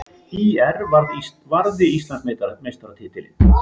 ÍR varði Íslandsmeistaratitilinn